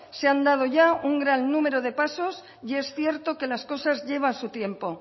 se han dado ya un gran número de pasos y es cierto que las cosas llevan su tiempo